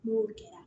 N'o kɛra